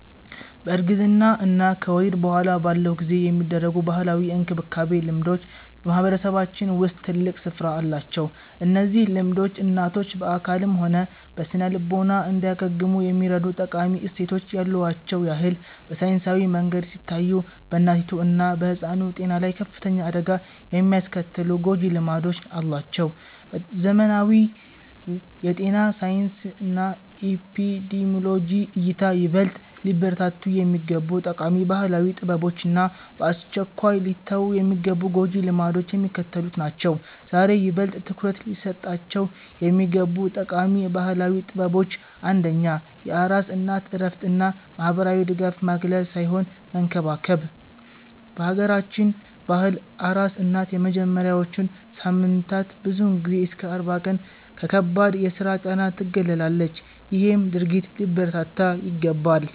በእርግዝና እና ከወሊድ በኋላ ባለው ጊዜ የሚደረጉ ባህላዊ የእንክብካቤ ልምዶች በማህበረሰባችን ውስጥ ትልቅ ስፍራ አላቸው። እነዚህ ልምዶች እናቶች በአካልም ሆነ በስነ-ልቦና እንዲያገግሙ የሚረዱ ጠቃሚ እሴቶች ያሉዋቸውን ያህል፣ በሳይንሳዊ መንገድ ሲታዩ በእናቲቱ እና በሕፃኑ ጤና ላይ ከፍተኛ አደጋ የሚያስከትሉ ጎጂ ልማዶችም አሏቸው። በዘመናዊው የጤና ሳይንስና ኤፒዲሚዮሎጂ እይታ፣ ይበልጥ ሊበረታቱ የሚገቡ ጠቃሚ ባህላዊ ጥበቦች እና በአስቸኳይ ሊተዉ የሚገቡ ጎጂ ልማዶች የሚከተሉት ናቸው፦. ዛሬ ይበልጥ ትኩረት ሊሰጣቸው የሚገቡ ጠቃሚ ባህላዊ ጥበቦች አንደኛ የአራስ እናት እረፍት እና ማህበራዊ ድጋፍ ማግለል ሳይሆን መንከባከብ፦ በአገራችን ባህል አራስ እናት የመጀመሪያዎቹን ሳምንታት ብዙውን ጊዜ እስከ 40 ቀን ከከባድ የስራ ጫና ትገለላለች ይሄም ድርጊት ሊበረታታ ይገባል።